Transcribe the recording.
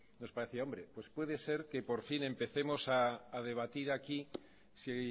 nos parecía hombre pues puede ser que por fin empecemos a debatir aquí si